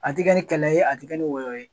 A te kɛ ni kɛlɛ ye a te kɛ ni wɔyɔ ye